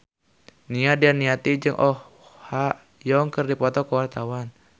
Nia Daniati jeung Oh Ha Young keur dipoto ku wartawan